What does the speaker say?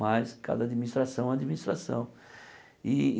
mas cada administração é administração.